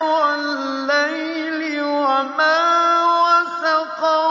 وَاللَّيْلِ وَمَا وَسَقَ